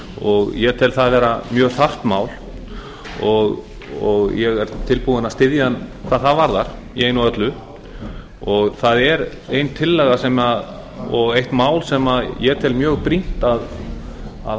afkastabetri ég tel það vera mjög þarft mál og ég er tilbúinn að styðja hann hvað það varðar í einu og öllu það er ein tillaga og eitt mál sem ég tel mjög brýnt að